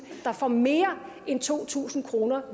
der får mere end to tusind kroner